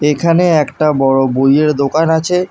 এখানে একটা বড় বইয়ের দোকান আছে।